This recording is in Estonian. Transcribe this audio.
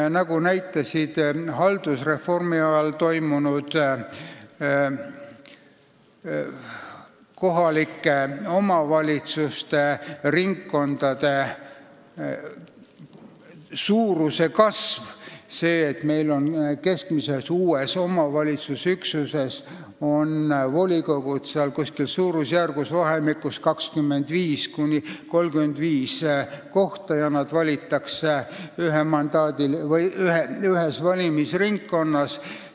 Aga nagu näitas haldusreformi ajal toimunud kohalike omavalitsuste ringkondade suuruse kasv, on uutes omavalitsusüksustes volikogud suurusjärgus 25–35 kohta ja need esindajad valitakse ühes valimisringkonnas.